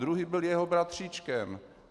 Druhý byl jeho bratříčkem.